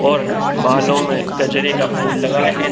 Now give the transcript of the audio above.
और बालो में गजरे का फूल लगाए है।